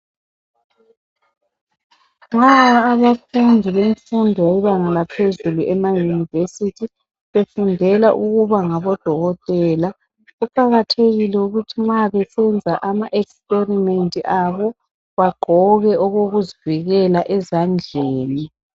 Nxa abafundi bemfundo bebanga laphezulu emayunivesithi befundela ukuba ngaboDokotela kuqakathekile ukuthi nxa besenza ama ekisiperimenti abo bagqoke okokuzivikela ezandleni